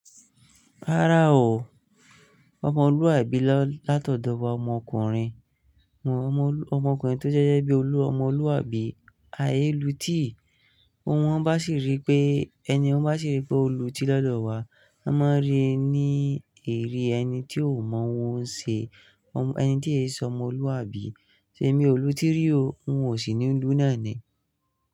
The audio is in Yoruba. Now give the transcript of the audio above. Rárá o, ọmọlúwàbí lọ látọ̀dọ̀ wa ọmọkùnrin, mọ́ ọmọkùnrin tó jẹ́ gegẹ́ bí olúomo, ọmọlúwàbí, ayé lu tíì. O won bá sì rí pé ẹniyen ń bá sì rí pé ó lu tí lọ́dọ̀ wá, a máa n rí i ní irí ẹni tí ò mọ́ ohun ṣe, omo, ẹni tí n íse ọmọlúwàbí. Tèmi olùtí rí o? N ò sí ní lú náà ni.